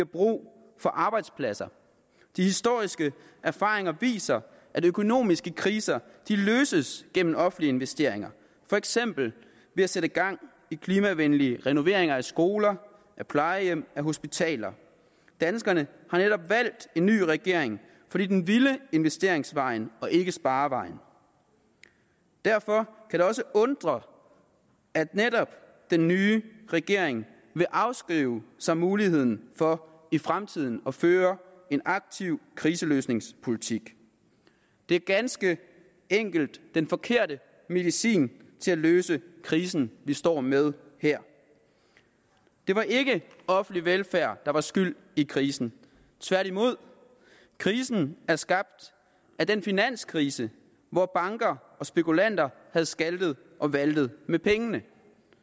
brug for arbejdspladser de historiske erfaringer viser at økonomiske kriser løses gennem offentlige investeringer for eksempel ved at sætte gang i klimavenlige renoveringer af skoler af plejehjem af hospitaler danskerne har netop valgt en ny regering fordi den ville investeringsvejen og ikke sparevejen derfor det også undre at netop den nye regering vil afskrive sig muligheden for i fremtiden at føre en aktiv kriseløsningspolitik det er ganske enkelt den forkerte medicin til at løse krisen vi står med her det var ikke offentlig velfærd der var skyld i krisen tværtimod krisen blev skabt af den finanskrise hvor banker og spekulanter havde skaltet og valtet med pengene